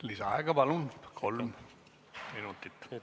Lisaaega palun, kolm minutit!